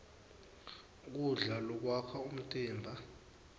kudla lokwakha umtimba